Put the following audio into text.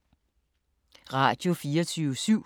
Radio24syv